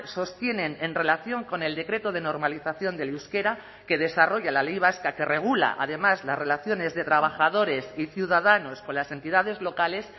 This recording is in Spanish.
sostienen en relación con el decreto de normalización del euskera que desarrolla la ley vasca que regula además las relaciones de trabajadores y ciudadanos con las entidades locales